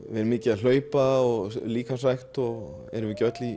verið mikið að hlaupa og í líkamsrækt erum við ekki öll í